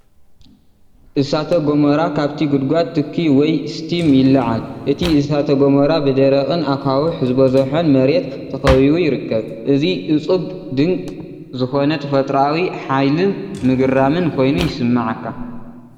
እሳተ ጎመራ ፣ ካብቲ ጕድጓዱ ትኪ ወይ ስቲም ይለዓል። እቲ እሳተ ጎመራ ብደረቕን ኣኻውሕ ዝበዝሖን መሬት ተኸቢቡ ይርከብ። እዚ እፁብ ድንቅ ዝኾነ ተፈጥሮኣዊ ሓይልን ምግራምን ኮይኑ ይስምዓካ።